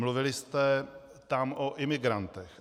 Mluvili jste tam o imigrantech.